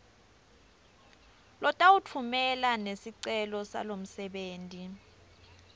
lotawutfumela nesicelo salomsebenti